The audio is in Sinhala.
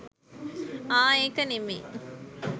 ආ ඒක නෙමෙයි